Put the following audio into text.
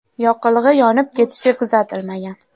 Yoqilg‘i yonib ketishi kuzatilmagan.